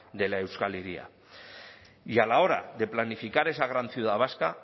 de la euskal hiria y a la hora de planificar esa gran ciudad vasca